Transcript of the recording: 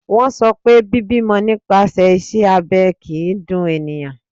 Wọ́n sọ pé bíbímọ nípasẹ̀ iṣẹ́ abẹ kìí dun eniyan.